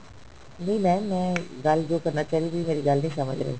ਨਹੀਂ mam ਮੈਂ ਗੱਲ ਜੋ ਕਰਨਾ ਚਾਹ ਰਹੀ ਤੁਸੀਂ ਗੱਲ ਨਹੀ ਸਮਝ ਰਹੇ